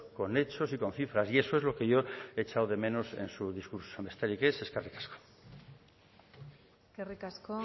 con hechos y con cifras y eso es lo que yo he echado de menos en su discurso besterik ez eskerrik asko eskerrik asko